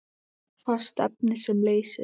Fast efni sem leysir